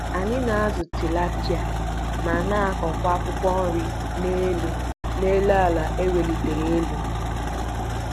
Anyị na-azụ tilapịa ma na-akụ akwụkwọ nri n'elu n'elu àlà e welitere elu.